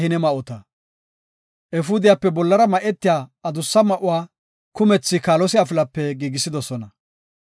Efuudiyape bollara ma7etiya adussa ma7oy kumethi kaalose afilape giigisidosona.